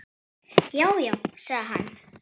Já, já sagði hann.